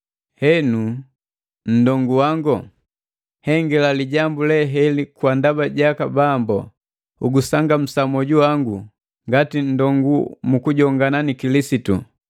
Henu nndongu wango, nhengila lijambu le heli kwa ndaba jaka Bambu, ugusangamusa mwoju wangu ngati nndongu mu kujongana ni Kilisitu.